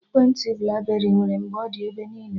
Ekwentị blakberị nwere mgbe ọ dị ebe niile